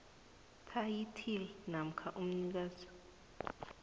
thayithili namkha umnikazi